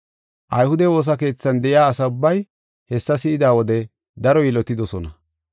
Ayhude woosa keethan de7iya asa ubbay hessa si7ida wode daro yilotidosona.